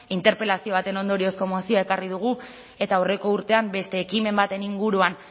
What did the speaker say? interpelazio baten ondoriozko mozioa ekarri dugu eta aurreko urtean beste ekimen baten inguruan